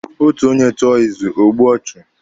Otu onye tụọ izu, ọ gbue ọchụ.